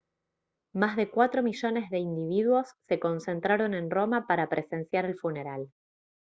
más de cuatro millones de individuos se concentraron en roma para presenciar el funeral